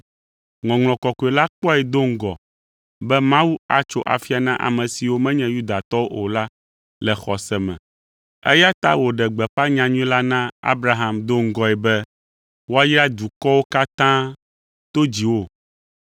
Ŋɔŋlɔ Kɔkɔe la kpɔe do ŋgɔ be Mawu atso afia na ame siwo menye Yudatɔwo o la le xɔse me, eya ta wòɖe gbeƒã nyanyui la na Abraham do ŋgɔe be, “Woayra dukɔwo katã to dziwò.”